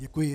Děkuji.